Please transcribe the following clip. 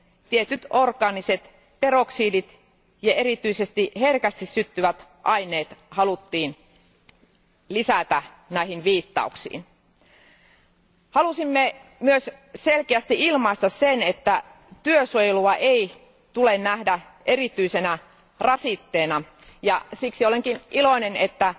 tietyt orgaaniset peroksidit ja erityisesti herkästi syttyvät aineet haluttiin lisätä näihin viittauksiin. Halusimme myös selkeästi ilmaista sen, että työsuojelua ei tule nähdä erityisenä rasitteena, ja siksi olenkin iloinen, että